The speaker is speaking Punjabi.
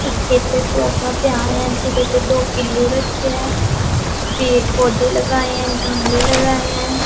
ਇੱਕ ਇੱਥੇ ਸੋਫਾ ਪਿਆ ਹੋਇਆ ਜਿਹਦੇ ਤੇ ਦੋ ਪਿੱਲੋ ਰੱਖੇ ਆ ਪੇੜ-ਪੌਦੇ ਲਗਾਏ ਆ ਗਮਲੇ ਲਗਾਏ ਐ।